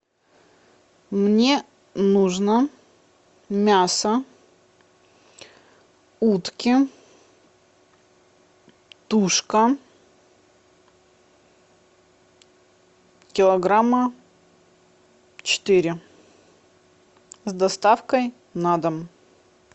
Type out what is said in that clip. мне нужно мясо утки тушка килограмма четыре с доставкой на дом